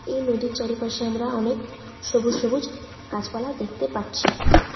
এই নদীর চারিপাশে আমরা অনেক সবুজ সবুজ গাছপালা দেখতে পাচ্ছি।